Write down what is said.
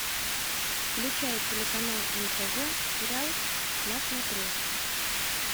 включай телеканал нтв сериал на смотрешке